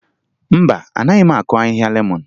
Mba, anaghị m akụ ahịhịa lemọn